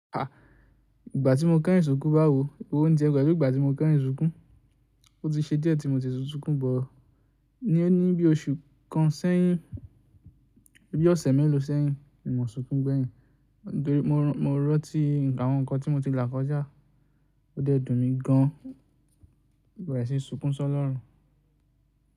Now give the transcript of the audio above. Ìgbà tí mo kẹ́rìnsùnkún bá wò, ewó ń tiẹ̀ pelu Pelu ìgbà tí mo kẹ́yìnsùnkún, ó ti ṣe díẹ̀ tí mo ti sunsunkún bọ̀. Ní bí oṣù kan sẹ́yìn, ní bí ọ̀sẹ̀ mẹ́lòó sẹ́yìn, mo sunkún gbẹ̀yìn. Torí mo rántí awon ǹkan tí mo ti là kọjá, ó dẹ́dùn mi gan. Mo bẹre ṣi sunkún sọlọ́run.